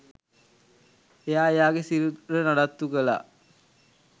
එයා එයාගෙ සිරුර නඩත්තු කළා.